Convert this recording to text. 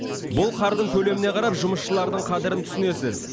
бұл қардың көлеміне қарап жұмысшылардың қадірін түсінесіз